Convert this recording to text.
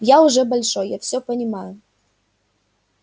я уже большой я всё понимаю